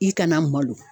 I kana malo